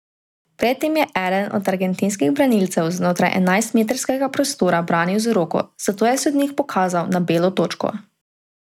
Pred tem je eden od argentinskih branilcev znotraj enajstmetrskega prostora branil z roko, zato je sodnik pokazal na belo točko.